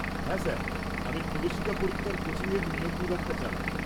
হ্যাঁ স্যার, আমি প্রবেশিকা পরীক্ষার কোচিংয়ের নিয়োগ বিভাগটা চালাই।